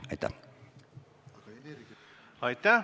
Aitäh!